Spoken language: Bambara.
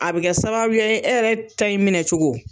A bɛ kɛ sababu ye e yɛrɛ ta in minɛ cogo